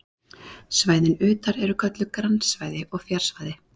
Svæðin utar eru kölluð grannsvæði og fjarsvæði.